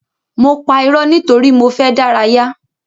Mo pa ìró nítorí mo fẹ dárayá.